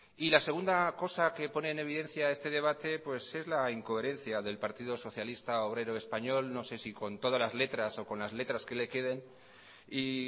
y la segunda cosa que pone en evidencia este debate es la incoherencia del partido socialista obrero español no sé si con todas las letras o las letras que le queden y